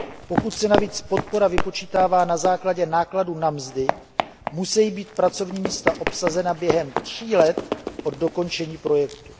Pokud se navíc podpora vypočítává na základě nákladů na mzdy, musejí být pracovní místa obsazena během tří let od dokončení projektu.